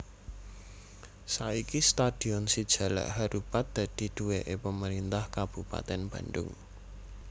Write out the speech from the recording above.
Saiki stadion si jalak harupat dadi duwèké Pemerintah Kabupatèn Bandhung